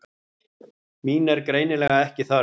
Mín er greinilega ekki þörf.